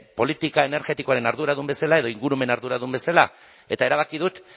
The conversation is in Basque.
politika energetikoaren arduradun bezala edo ingurumen arduradun bezala eta erabaki dut